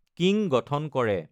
King গঠন কৰে।